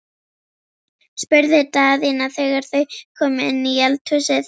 spurði Daðína þegar þau komu inn í eldhúsið.